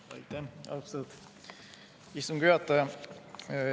Aitäh, austatud istungi juhataja!